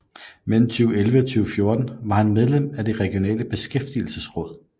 Mellem 2011 og 2014 var han medlem af Det Regionale Beskæftigelsesråd